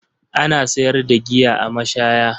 Ana sayar da giya a mashaya.